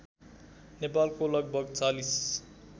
नेपालको लगभग ४०